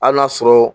Hali n'a sɔrɔ